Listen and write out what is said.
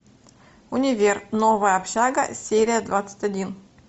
универ новая общага серия двадцать один